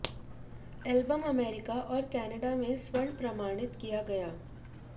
album America और Canada में स्वर्ण प्रमाणित किया गया